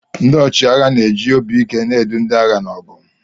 Ndị ọchịagha na-eji obi ike na-edu ndị agha n'ọgụ.